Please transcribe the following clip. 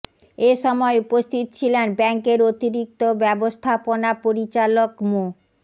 এ সময় উপস্থিত ছিলেন ব্যাংকের অতিরিক্ত ব্যবস্থাপনা পরিচালক মো